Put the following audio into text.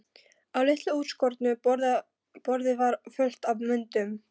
Á litlu útskornu borði var fullt af myndum.